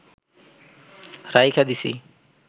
রাইখা দিছি